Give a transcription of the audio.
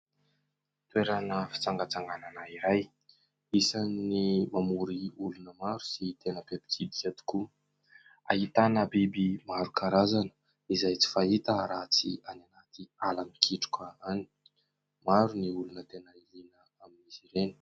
Toerana fitsangatsanganana iray isan'ny mamory olona maro sy tena be mpitsidika tokoa, ahitana biby maro karazana izay tsy fahita raha tsy any anaty ala mikitroka any, maro ny olona tena liana amin'izy ireny.